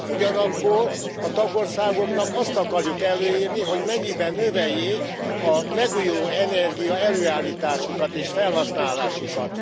Ugyanakkor a tagországoknak azt akarjuk előírni, hogy mennyiben növeljék a megújulóenergia előállításukat és felhasználásukat.